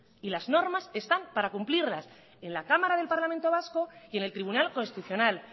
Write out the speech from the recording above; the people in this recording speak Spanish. y las normas están para cumplirlas en la cámara del parlamento vasco y en el tribunal constitucional